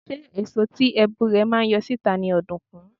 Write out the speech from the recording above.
Ṣé èso tí èbù rẹ̀ máa ń yọ síta ni ọ̀dùnkún?